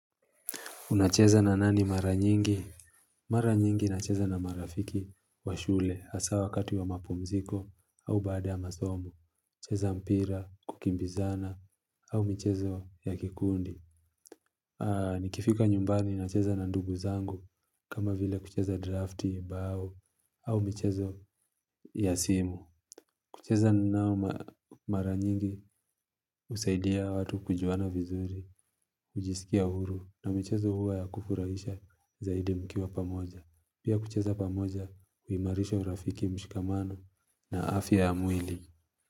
Unacheza na nani mara nyingi? Mara nyingi nacheza na marafiki wa shule hasa wakati wa mapumziko au baada ya masomo. Cheza mpira, kukimbizana au michezo ya kikundi. Nikifika nyumbani nacheza na ndugu zangu kama vile kucheza drafti bao au michezo ya simu. Kucheza nao mara nyingi husaidia watu kujuana vizuri, kujisikia huru na michezo huwa ya kufurahisha zaidi mkiwa pamoja. Pia kucheza pamoja huimarisha urafiki mshikamano na afya ya mwili.